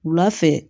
Wula fɛ